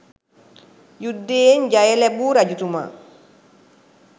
යුද්ධයෙන් ජය ලැබූ රජතුමා